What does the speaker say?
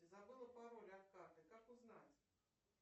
забыла пароль от карты как узнать